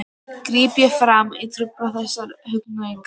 gríp ég fram í og trufla þessar hugrenningar.